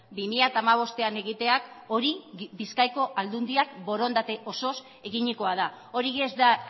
bi mila hamabostean egiteak hori bizkaiko aldundiak borondate osoz eginikoa da hori ez da